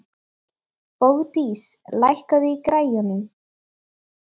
Bogdís, lækkaðu í græjunum.